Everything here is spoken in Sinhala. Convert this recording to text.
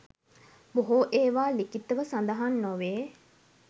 බොහෝ ඒවා ලිඛිතව සඳහන් නොවේ.